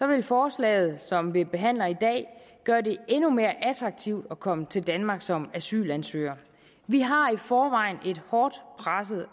vil forslaget som vi behandler i dag gøre det endnu mere attraktivt at komme til danmark som asylansøger vi har i forvejen et hårdt presset